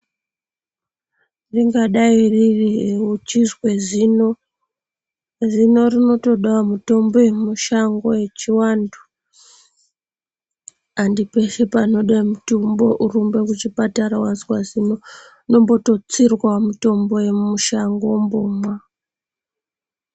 Ringadai riri uchizwe zino, zino rinotodawo mutombo yemushango yechiantu, handi peshe panoda mutombo worumba kuchipatara wazwa zino, unombototsirwa mutombo yemushango wombomwa.